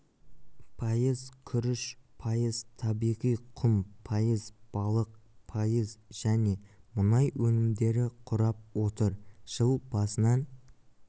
пайыз күріш пайыз табиғи құм пайыз балық пайыз және мұнай өнімдері құрап отыр жыл басынан